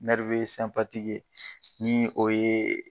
ye, ni o ye